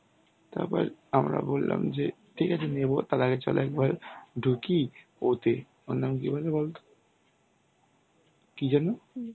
তারপর আমরা বললাম যে ঠিক আছে নেবো তার আগে চলো একবার ঢুকি ওতে ওর নাম কি বলো তো, কি যেন?